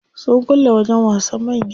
Sun kulle wajen wasan manya.